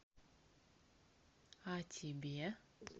а тебе